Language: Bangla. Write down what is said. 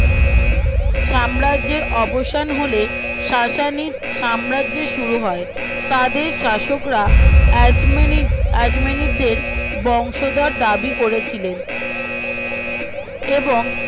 সাম্রাজ্যের অবসান হলে সাসানী সাম্রাজ্য শুরু হয় তাদের শাসকরা আজমিনী আজমিনীদের বংশধর দাবি করেছিলেন এবং